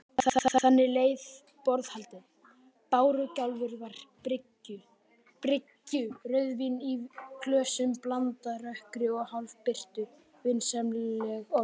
Þannig leið borðhaldið: bárugjálfur við bryggju, rauðvín í glösum, blandað rökkri og hálfbirtu, vinsamleg orð.